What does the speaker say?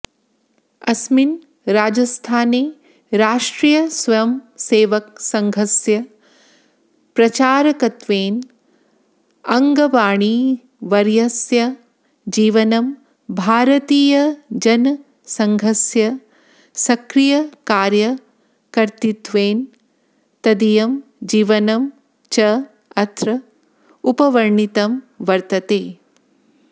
अस्मिन् राजस्थाने राष्ट्रियस्वयंसेवकसङ्घस्य प्रचारकत्वेन अड्वाणिवर्यस्य जीवनं भारतीयजनसङ्घस्य सक्रियकार्यकर्तृत्वेन तदीयं जीवनं च अत्र उपवर्णितं वर्तते